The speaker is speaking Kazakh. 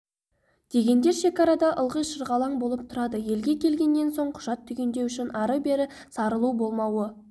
дегендер шекарада ылғи шырғалаң болып тұрады елге келгеннен соң құжат түгендеу үшін ары-бері сарылу болмауы